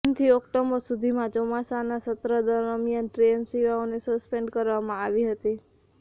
જૂનથી ઓક્ટોબર સુધીમાં ચોમાસાની સત્ર દરમિયાન ટ્રેન સેવાઓને સસ્પેન્ડ કરવામાં આવી હતી